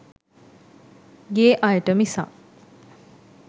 ගේ අයට මිසක්